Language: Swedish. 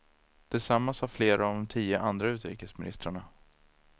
Detsamma sa flera av de tio andra utrikesministrarna.